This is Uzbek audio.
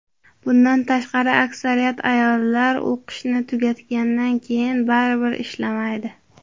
Bundan tashqari, aksariyat ayollar o‘qishni tugatgandan keyin baribir ishlamaydi.